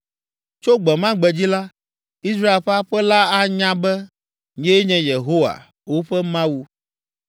Tso gbe ma gbe dzi la, Israel ƒe aƒe la anya be nyee nye Yehowa, woƒe Mawu.